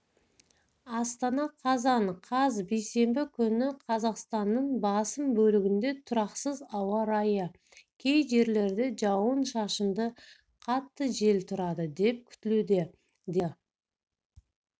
астана қазан қаз бейсенбі күні қазақстанның басым бөлігінде тұрақсыз ауа райы кей жерлерде жауын-шашынды қатты жел тұрады деп күтілуде деп хабарлады